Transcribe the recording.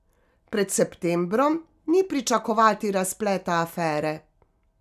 Pred septembrom ni pričakovati razpleta afere.